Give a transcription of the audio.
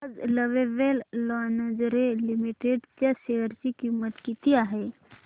आज lovable lingerie limited च्या share ची किंमत किती आहे